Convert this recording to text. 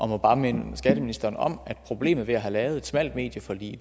må bare minde skatteministeren om at problemet i at have lavet et smalt medieforlig